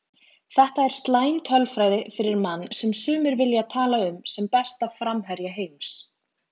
Þetta er slæm tölfræði fyrir mann sem sumir vilja tala um sem besta framherja heims.